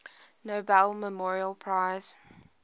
nobel memorial prize